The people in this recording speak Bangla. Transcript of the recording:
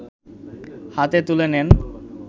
হাতে তুলে নেন